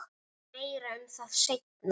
Meira um það seinna.